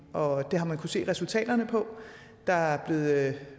og det har man se resultaterne af for der er blevet